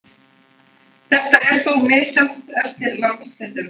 Þetta er þó misjafnt eftir landshlutum.